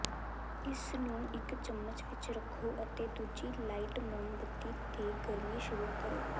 ਇਸਨੂੰ ਇਕ ਚਮਚ ਵਿਚ ਰੱਖੋ ਅਤੇ ਦੂਜੀ ਲਾਈਟ ਮੋਮਬੱਤੀ ਤੇ ਗਰਮੀ ਸ਼ੁਰੂ ਕਰੋ